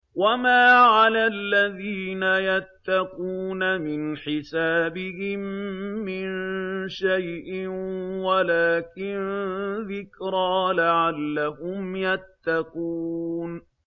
وَمَا عَلَى الَّذِينَ يَتَّقُونَ مِنْ حِسَابِهِم مِّن شَيْءٍ وَلَٰكِن ذِكْرَىٰ لَعَلَّهُمْ يَتَّقُونَ